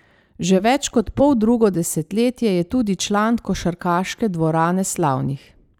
Že več kot poldrugo desetletje je tudi član košarkarske dvorane slavnih.